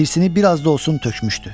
Hirsini bir az da olsun tökmüşdü.